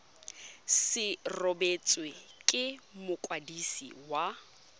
se rebotswe ke mokwadisi wa